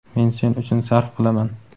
men sen uchun sarf qilaman.